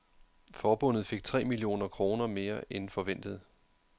Forbundet fik tre millioner kroner mere end forventet.